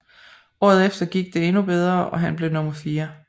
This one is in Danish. Året efter gik det endnu bedre og han blev nummer fire